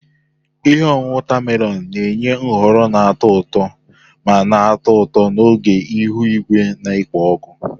Ihe ọṅụṅụ watermelon na-enye nhọrọ na-atọ ụtọ ma na-atọ ụtọ n'oge ihu igwe na-ekpo ọkụ.